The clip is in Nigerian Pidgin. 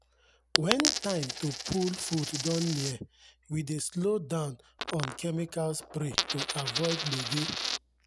when time to pull food don near we dey slow down on chemical spray to avoid gbege.